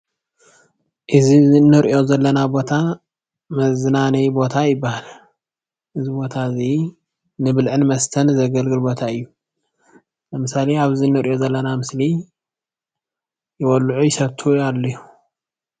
እዚ እንሪኦ ዘለና ቦታ መዝናነዪ ቦታ ይብሃል። እዚ ቦታ እዚ ንብልዕን መስተን ዘገልግል ቦታ እዩ። ንምሳሌ ኣብዚ እንሪኦ ዘለና ምስሊ ይበልዑ ይሰትዩ ኣለዉ።